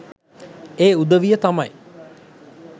ඒ උදවිය තමයි.